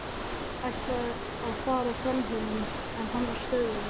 Ætlaði að fara framhjá honum en hann stöðvaði mig.